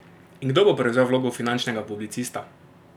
In kdo bo prevzel vlogo finančnega policista?